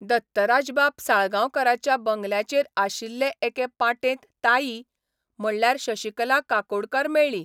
दत्तराजबाब साळगांवकाराच्या बंगल्याचेर आशिल्ले एके पाटेंत ताई, म्हणल्यार शशिकला काकोडकार मेळ्ळी.